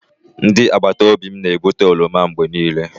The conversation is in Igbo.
Ndị agbata obi m na-ebute oroma mgbe niile.